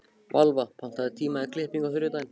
Valva, pantaðu tíma í klippingu á þriðjudaginn.